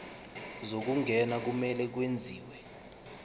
zokungena kumele kwenziwe